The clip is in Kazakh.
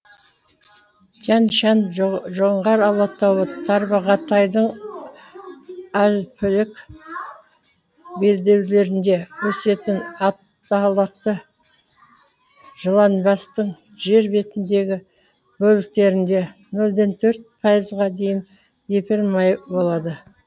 тянь шань жоңғар алатауы тарбағатайдың альпілік белдеулерінде өсетін аталықты жыланбастың жер бетіндегі бөліктерінде нөльден төрт пайызға дейін эфир майы болады